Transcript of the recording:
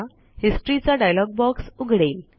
Historyचा dialog box उघडेल